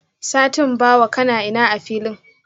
satin bawa, kanaina a filin?